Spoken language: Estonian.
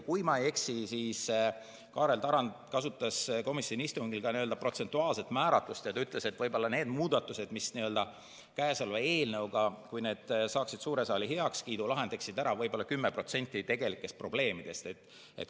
Kui ma ei eksi, siis Kaarel Tarand kasutas komisjoni istungil protsentuaalset määratlust ja ütles, et kui need muudatused, mis on käesolevas eelnõus, saaksid suure saali heakskiidu, siis see lahendaks ära võib-olla 10% tegelikest probleemidest.